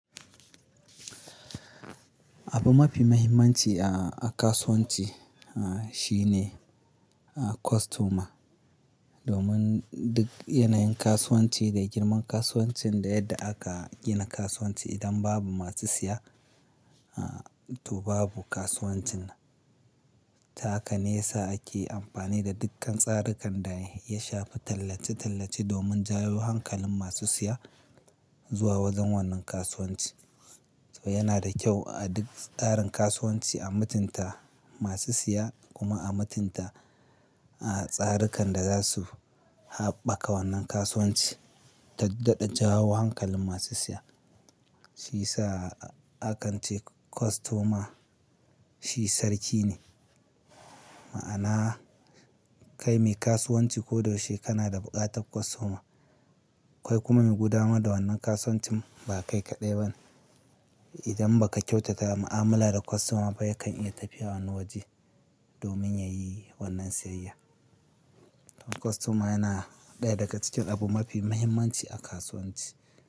Abu mafi muhimmanci a, a kasuwanci, a, shi ne, a, kostoma. Domin duk yanayin kasuwanci da girman kasuwancin da yadda aka gina kasuwanci, idan babu masu siya, a, to babu kasuwancin. Taka ne ya sa ake amfani da dukkan tsarikan da ya shafi tallace-tallace domin jawo hankalin masu siya zuwa wajen wannan kasuwanci. To yana da kyau a duk tsarin kasuwanci a mutunta masu siya kuma a mutunta, a, tsarikan da za su haɓaka wannan kasuwanci ta dadajawa hankalin masu siya. Shi ya sa a kan ce kostoma shi sarki ne. Ma'ana kai mai kasuwanci ko da wacce kana da buƙatar kostoma, kai kuma mai gudanar da wannan kasuwancin ba kai kaɗai ba. Idan ba ka kyautata mu'amala da kostoma ba, yakan iya tafiya wani waje domin ya yi wannan siyayya. Kostoma yana ɗaya daga cikin abu mafi muhimmanci a kasuwanci.